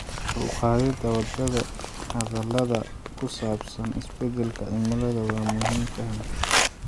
Kor u qaadida wada hadallada ku saabsan isbedelka cimilada waa muhiim fahamka.